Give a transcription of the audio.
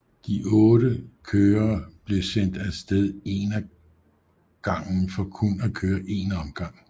De 8 kører bliver sendt af sted en af gang for kun at køre en omgang